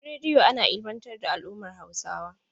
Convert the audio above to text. A gidan radiyo ana ilmantar da al'ummar Hausawa.